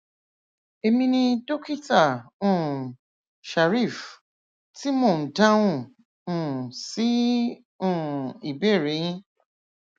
emi ni dókítà um shareef tí mò ń dáhùn um sí um ìbéèrè yín